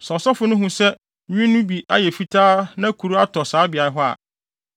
Sɛ ɔsɔfo no hu sɛ nwi no bi ayɛ fitaa na kuru atɔ saa beae hɔ a,